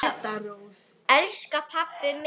Elsku pabbi minn!